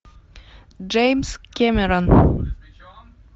джеймс кэмерон